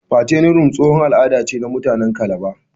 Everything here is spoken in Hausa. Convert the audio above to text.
Fattening room tsohon al'ada ne na muatanen kalaba.